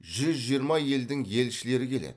жүз жиырма елдің елшілері келеді